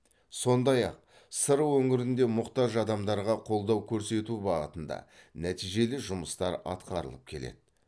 сондай ақ сыр өңірінде мұқтаж адамдарға қолдау көрсету бағытында нәтижелі жұмыстар атқарылып келеді